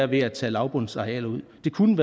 ved at tage lavbundsarealer ud det kunne